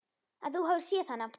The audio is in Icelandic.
Að þú hafir séð hana?